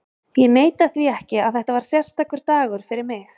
Ég neita því ekki að þetta var sérstakur dagur fyrir mig.